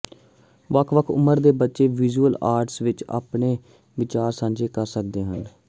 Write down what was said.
ਵੱਖ ਵੱਖ ਉਮਰ ਦੇ ਬੱਚੇ ਵਿਜ਼ੁਅਲ ਆਰਟਸ ਵਿੱਚ ਆਪਣੇ ਵਿਚਾਰ ਸਾਂਝੇ ਕਰ ਸਕਦੇ ਹਨ